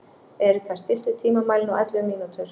Erika, stilltu tímamælinn á ellefu mínútur.